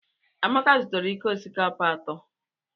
Amaka zụtara iko osikapa atọ.